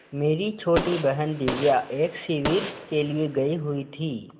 मेरी छोटी बहन दिव्या एक शिविर के लिए गयी हुई थी